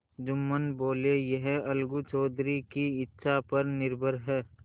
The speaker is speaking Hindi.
जुम्मन बोलेयह अलगू चौधरी की इच्छा पर निर्भर है